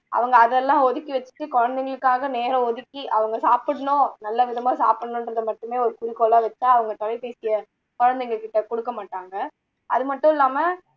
அவங்க அதெல்லாம் ஒதுக்கி வச்சுட்டு குழந்தைங்களுக்காக நேரம் ஒதுக்கி அவங்க சாப்பிடணும் நல்ல விதமா சாப்பிடணுன்றதை மட்டுமே ஒரு குறிக்கோளா வச்சா அவங்க தொலைபேசியை குழந்தைங்ககிட்ட கொடுக்க மாட்டாங்க அது மட்டும் இல்லாம